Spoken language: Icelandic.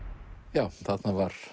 já þarna var